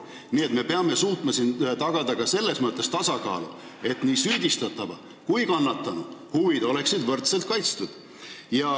Nii et me peame suutma siin tagada ka tasakaalu, et nii süüdistatava kui kannatanu huvid oleksid võrdselt kaitstud.